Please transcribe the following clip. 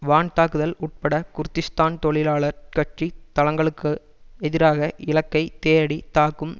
வான்தாக்குதல் உட்பட குர்திஷ்தான் தொழிலாளர் கட்சி தளங்களுக்கு எதிராக இலக்கை தேடி தாக்கும்